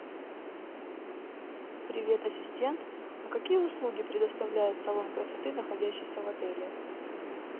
привет ассистент а какие услуги предоставляет салон красоты находящийся в отеле